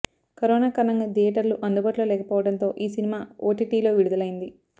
corona కారణంగా థియేటర్లు అందుబాటులో లేకపోవడంతో ఈ సినిమా ఓటీటీలో విడుదలైంది